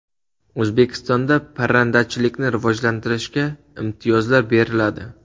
O‘zbekistonda parrandachilikni rivojlantirishga imtiyozlar beriladi.